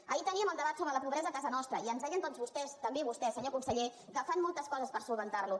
ahir teníem el debat sobre la pobresa a casa nostra i ens deien tots vostès també vostè senyor conseller que fan moltes coses per resoldre ho